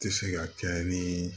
Tɛ se ka kɛ ni